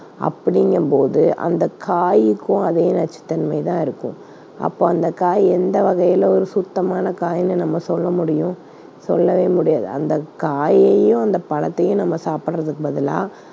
அப்படிங்கும்போது அந்தக் காய்க்கும் அதே நச்சுத்தன்மை தான் இருக்கும். அப்போ அந்தக் காய் எந்த வகையில ஒரு சுத்தமான காய்ன்னு நம்ம சொல்ல முடியும், சொல்லவே முடியாது. அந்தக் காயையும், அந்தப் பழத்தையும் நம்ம சாப்பிடுறதுக்கு பதிலா